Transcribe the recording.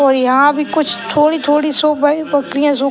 और यहां भी कुछ थोड़ी-थोड़ी सो भाई बकरियां सो --